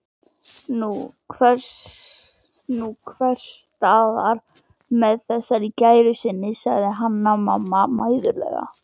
Nú, einhvers staðar með þessari gæru sinni, sagði Hanna-Mamma mæðuleg.